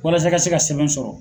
Walasa i ka se ka sɛbɛn sɔrɔ.